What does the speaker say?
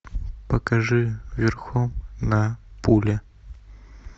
покажи верхом на пуле